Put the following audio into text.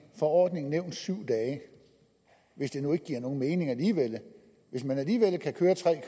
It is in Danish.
forordningen nævnt syv dage hvis det nu ikke giver nogen mening alligevel hvis man alligevel kan køre tre